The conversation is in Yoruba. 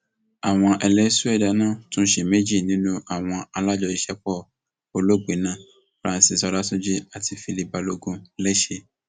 àwọn ẹlẹsù ẹdá náà tún ṣe méjì nínú àwọn alájọṣiṣẹpọ olóògbé náà francis ọlátúnjì àti philip balogun lẹsẹ